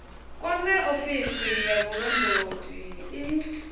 kwame ofisi ya vhulondoti i